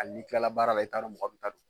Hali n'i tilala baara la i t'a dɔ mɔgɔ min ta don